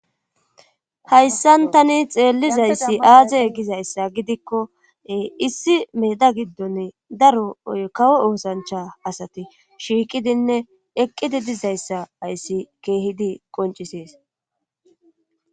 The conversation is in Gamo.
Hayssan tani xeellizayssi aaze gizayssa gidikko issi meeda giddonne daro ykawo oosancha asati shiiqidinne eqqidi dizayssa ayssi keehidi qoncisees